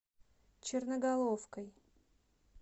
черноголовкой